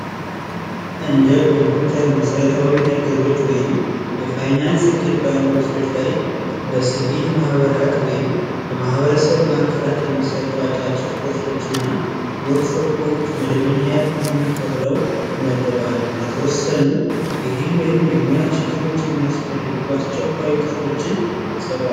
እንደ ኮምፒውተር መሰረታዊ ነገሮች ወይም የፋይናንስ ላይ የሲቪል ማህበራት ወይም በማህበረሰብ ማዕከላት የሚሰጡ አጫጭር ኮርሶች እና ወርክ ሾፖች መደበኛ ያልሆኑ ተብለው ይመደባሉ ለተወሰኑ የግል ወይም የሙያ ችግሮችን የሚያስፈልጉ አስቸኳች እውቀቶችን ይሰጣሉ።